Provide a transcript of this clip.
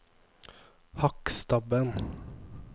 Hakkstabben